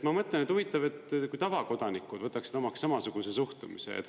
Ma mõtlen, et huvitav, et kui tavakodanikud võtaksid omaks samasuguse suhtumise.